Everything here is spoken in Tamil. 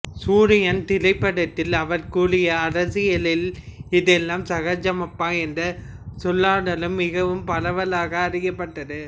சூரியன் திரைப்படத்தில் அவர் கூறிய அரசியலில்லே இதெல்லாம் சகஜமப்பா என்ற சொல்லாடலும் மிகவும் பரவலாக அறியப்பட்டது